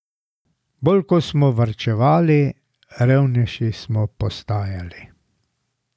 Bolj ko smo varčevali, revnejši smo postajali.